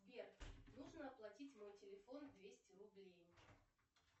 сбер нужно оплатить мой телефон двести рублей